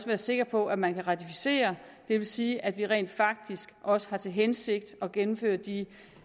være sikker på at man kan ratificere det vil sige at vi rent faktisk også har til hensigt at gennemføre de